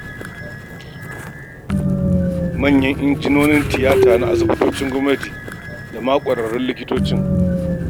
Manyan injunan tiyata na asibitocin gwamnati da ma ƙwararrun likitocin.